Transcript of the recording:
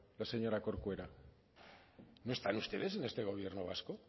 la señora corcuera no están ustedes en este gobierno vasco